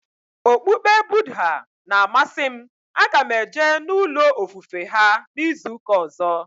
Okpukpe Budha na amasị m, a ga m eje n'ulo ofufe ha n'izuka ọzọ